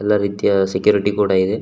ಎಲ್ಲ ರೀತಿಯ ಸೆಕ್ಯೂರಿಟಿ ಕೂಡ ಇದೆ.